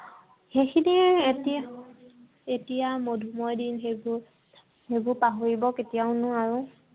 সেইখিনিয়ে এতিয়া, এতিয়া মধুময় দিন সেইবোৰ। সেইবোৰ পাহৰিব কেতিয়াও নোৱাৰো।